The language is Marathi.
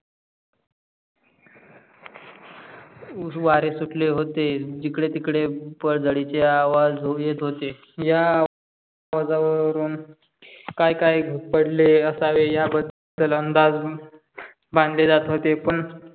वारे सुटले होते. जिकडे तिकडे पदजडीचे आवाज येत होते. या आवाज वरुण काय काय पडले असावे. या बधल अंदाज बाधले जात होते. पण